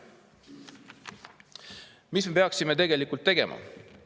Mida me tegelikult peaksime tegema?